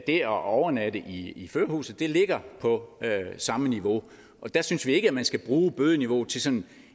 det at overnatte i i førerhuset ligger på samme niveau og der synes vi ikke at man skal bruge bødeniveauet til sådan